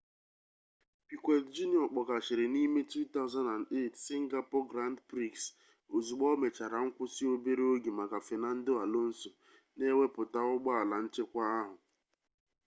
piquet jr kpọkashịrị n'ime 2008 singapore grand prix ozugbo o mechara nkwụsị obere oge maka fernando alonso na-ewepụta ụgbọala nchekwa ahụ